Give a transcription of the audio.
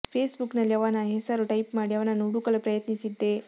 face book ನಲ್ಲಿ ಅವನ ಹೆಸರು ಟೈಪ್ ಮಾಡಿ ಅವನನ್ನು ಹುಡುಕಲು ಪ್ರಯತ್ನಿಸಿದ್ದೆ